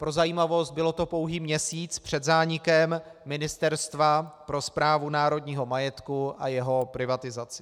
Pro zajímavost, bylo to pouhý měsíc před zánikem Ministerstva pro správu národního majetku a jeho privatizaci.